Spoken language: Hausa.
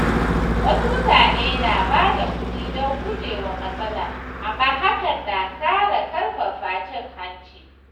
Wasu mutane na bada kuɗi don guje wa matsala, amma hakan na ƙara ƙarfafa cin hanci.